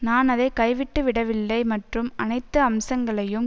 நான் அதை கைவிட்டுவிடவில்லை மற்றும் அனைத்து அம்சங்களையும்